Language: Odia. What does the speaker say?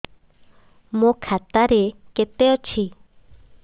ମୋ ଖାତା ରେ କେତେ ଅଛି